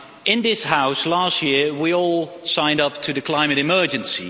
In this House last year we all signed up to the climate emergency.